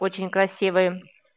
очень красивые